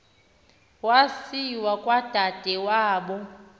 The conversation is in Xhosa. wasiwa kwadade wabo